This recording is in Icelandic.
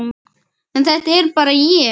En þetta er bara ég.